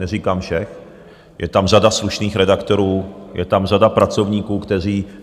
Neříkám všech, je tam řada slušných redaktorů, je tam řada pracovníků, kteří...